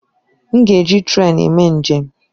M ga-eji trèn eme njem.